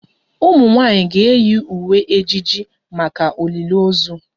Ụmụ nwanyị ga-eyi uwe ejiji maka olili ozu